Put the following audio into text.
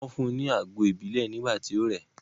Wọ́n fún un ní àgbo ìbílẹ̀ nígbà tí ó rẹ̀ ẹ́.